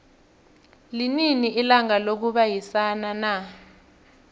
linini ilanga lokubayisana na